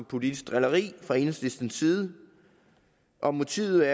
politisk drilleri fra enhedslistens side om motivet